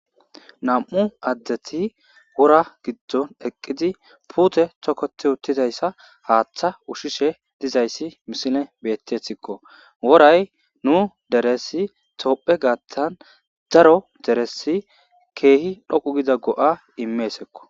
Nam'u adeti wora gidon eqidi pute toketti utidoysa hatha udhishe dizaysine betesikko worayi nu deres tophe gathan daro kehi dhoqu gida ga'a imesikko